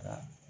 Ka